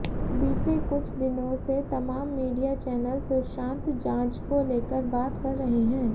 बीते कुछ दिनों से तमाम मीडिया चैनल सुशांत जांच को लेकर बात कर रहे हैं